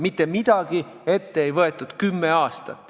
Kümme aastat mitte midagi ette ei võetud.